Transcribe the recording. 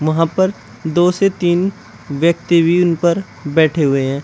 वहां पर दो से तीन व्यक्ति भी उन पर बैठे हुए हैं।